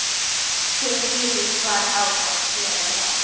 Þið vitið hvar á að fela þá.